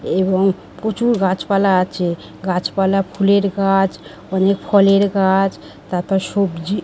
এবং প্রচুর গাছপালা আছে গাছপালা ফুলের গাছ অনেক ফলের গাছ তারপর সবজি।